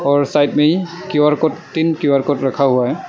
और साइड में Q R code तीन क्यू_आर कोड रखा हुआ है।